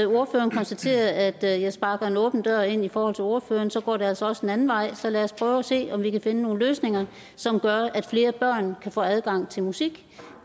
ordføreren konstaterede at jeg sparker en åben dør ind i forhold til ordføreren så går det altså også den anden vej så lad os prøve at se om vi kan finde nogle løsninger som gør at flere børn kan få adgang til musik